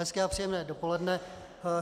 Hezké a příjemné dopoledne.